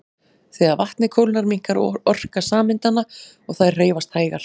Þegar vatnið kólnar minnkar orka sameindanna og þær hreyfast hægar.